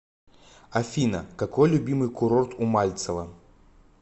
афина какой любимый курорт у мальцева